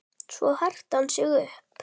Svo herti hann sig upp.